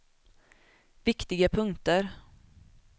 viktiga punkter